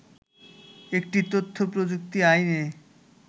একটি তথ্য প্রযুক্তি আইনে